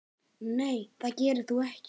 Nei það gerir þú ekki.